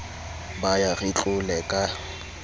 ba ya re tlole ka